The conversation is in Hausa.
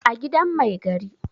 a gidan Mai gari